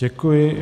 Děkuji.